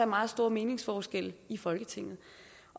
meget store meningsforskelle i folketinget